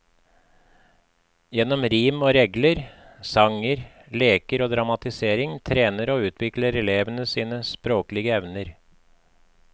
Gjennom rim og regler, sanger, leker og dramatisering trener og utvikler elevene sine språklige evner.